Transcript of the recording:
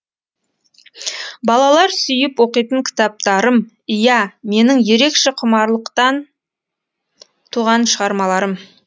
балалар сүйіп оқитын кітаптарым ия менің ерекше құмарлықтан туған шығармаларым